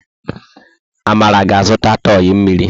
Amara ga-azụta tọị mmiri.